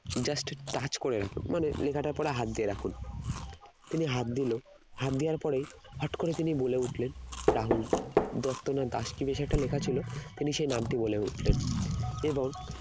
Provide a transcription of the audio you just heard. just touch করে রাখুন মানে লেখাটার ওপরে হাত দিয়ে রাখুন তিনি হাত দিল, হাত দেওয়ার পরেই হঠাৎ করে তিনি বলে উঠলেন রাহুল দত্ত না দাস কি বেশ একটা লেখা ছিল তিনি সেই নামটি বলে উঠলেন এবং